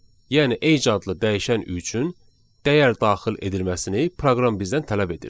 Yəni age adlı dəyişən üçün dəyər daxil edilməsini proqram bizdən tələb edir.